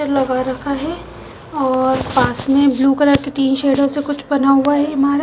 लगा रखा है और पास में ब्लू कलर की तिन शेडो से कुछ बना हुआ है इमारत--